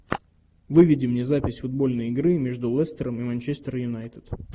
выведи мне запись футбольной игры между лестером и манчестер юнайтед